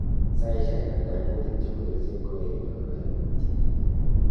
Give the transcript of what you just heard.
Saishek alak kaimutik chebo kerchek koae inyor kaimutiet ni